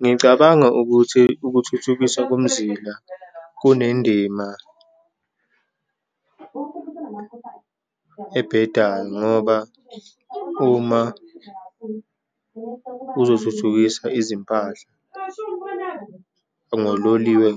Ngicabanga ukuthi ukuthuthukiswa komzila kunendima ebhedayo ngoba uma kuzothuthukisa izimpahla ngololiwe,